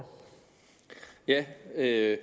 det er jo